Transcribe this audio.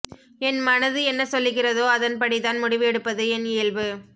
என் மனது என்ன சொல்லுகிறதோ அதன்படி தான் முடிவு எடுப்பது என் இயல்பு